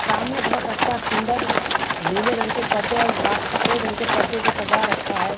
सामने बहुत अच्छा सुन्दर नीले रंग के परदे और ला सफ़ेद रंग के परदों से सजा रखा है।